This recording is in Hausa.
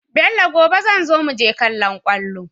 Bello gobe zanzo muje kallon kwallo